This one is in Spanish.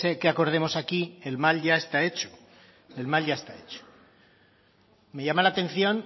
que acordemos aquí el mal ya está hecho el mal ya está hecho me llama la atención